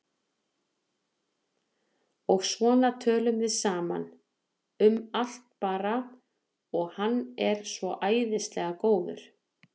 Og svo töluðum við saman, um allt bara, og hann var svo æðislega góður.